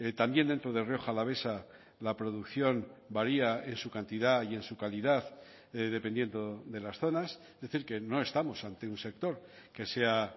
también dentro de rioja alavesa la producción varía en su cantidad y en su calidad dependiendo de las zonas es decir que no estamos ante un sector que sea